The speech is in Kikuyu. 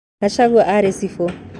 Gachagua aarĩ cibũ